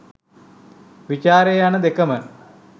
විචාරය යන දෙකම